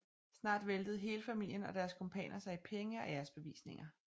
Snart væltede hele familien og deres kumpaner sig i penge og æresbevisninger